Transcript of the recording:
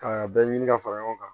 Ka a bɛɛ ɲini ka fara ɲɔgɔn kan